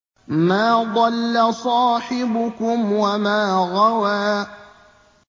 مَا ضَلَّ صَاحِبُكُمْ وَمَا غَوَىٰ